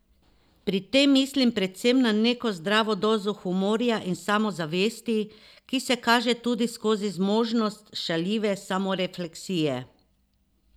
Pri tem mislim predvsem na neko zdravo dozo humorja in samozavesti, ki se kaže tudi skozi zmožnost šaljive samorefleksije.